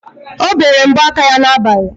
O bere mbọ aka ya n'abali.